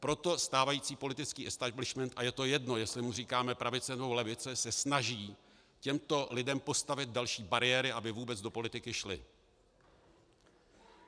Proto stávající politický establishment, a je to jedno, jestli mu říkáme pravice, nebo levice, se snaží těmto lidem postavit další bariéry, aby vůbec do politiky šli.